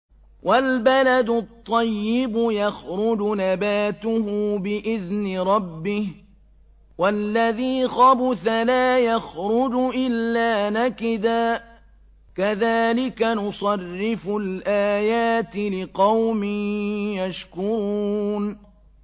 وَالْبَلَدُ الطَّيِّبُ يَخْرُجُ نَبَاتُهُ بِإِذْنِ رَبِّهِ ۖ وَالَّذِي خَبُثَ لَا يَخْرُجُ إِلَّا نَكِدًا ۚ كَذَٰلِكَ نُصَرِّفُ الْآيَاتِ لِقَوْمٍ يَشْكُرُونَ